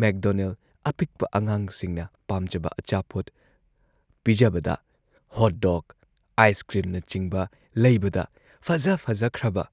make ꯗꯣꯅꯦꯜꯗ ꯑꯄꯤꯛꯄ ꯑꯉꯥꯡꯁꯤꯡꯅ ꯄꯥꯝꯖꯕ ꯑꯆꯥꯄꯣꯠ ꯄꯤꯖꯕꯗ, ꯍꯣꯠ ꯗꯣꯒ, ꯑꯥꯏꯁꯀ꯭ꯔꯤꯝꯅꯆꯤꯡꯕ ꯂꯩꯕꯗ ꯐꯖ ꯐꯖꯈ꯭ꯔꯕ